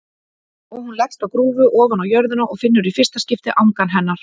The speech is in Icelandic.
Og hún leggst á grúfu ofaná jörðina og finnur í fyrsta skipti angan hennar.